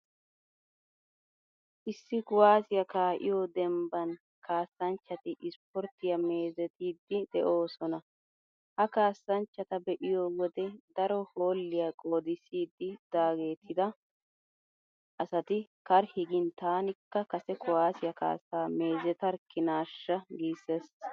Issi kuwaasiyaa kaa'iyoo dembban kaassanchchati ispporttiyaa meezettiiddi de'oosona. Ha kaassanchchata be'iyo wodee daro hoolliyaa qoodissidi daagettida asati karhi giin''taanikka kase kuwaasiyaa kaassaa meezetarikkinaashsha'' giissees.